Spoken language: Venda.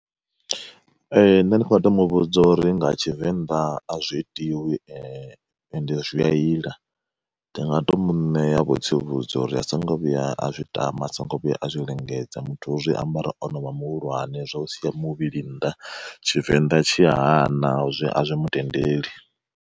Ee nṋe ndi nga to muvhudza uri nga tshivenḓa a zwi itiwi ende zwi a ila, ndi nga to muṋeya vho tsivhudza uri a songo vhuya a zwi tama a songo vhuya a zwi lingedza muthu u zwiambara ono vha muhulwane zwa u sia muvhili nnḓa tshivenḓa tshi hana a zwi mutendeli.